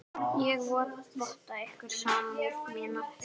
Ég votta ykkur samúð mína.